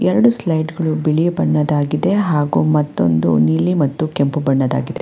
ಎರಡು ಸ್ಲೈಡ್ಸ್ ಬಿಳಿ ಬಣ್ಣದಾಗಿದೆ ಮತ್ತೊಂದು ನೀಲಿ ಮತ್ತು ಕೆಂಪು ಬಣ್ಣದ ಆಗಿದೆ.